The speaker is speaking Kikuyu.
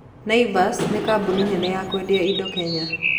Naivas nĩ kambuni nene ya kwendia indo Kenya.